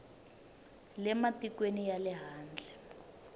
le matikweni ya le handle